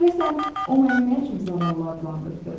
Görəsən o məni nə üçün zavallı adlandırdı?